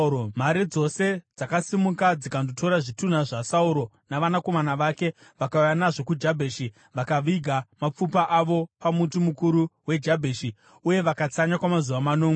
mhare dzose dzakasimuka dzikandotora zvitunha zvaSauro, navanakomana vake vakauya nazvo kuJabheshi vakaviga mapfupa avo pamuti mukuru weJabheshi uye vakatsanya kwamazuva manomwe.